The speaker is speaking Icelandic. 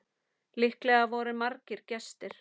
Líklega voru margir gestir.